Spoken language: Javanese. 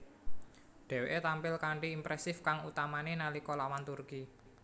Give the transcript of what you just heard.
Dheweke tampil kanthi impresif kang utamane nalika lawan Turki